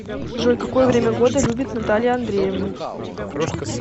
джой какое время года любит наталья андреевна